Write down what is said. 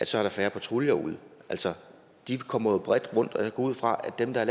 så er færre patruljer ude de kommer jo bredt rundt og jeg går ud fra at dem der